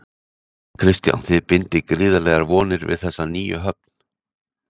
Kristján: Þið bindið gríðarlegar vonir við þessa nýju höfn?